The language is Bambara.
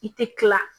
I tɛ kila